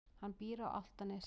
Hann býr á Álftanesi.